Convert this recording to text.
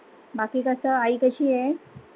बाकी कस आई कशी हाय?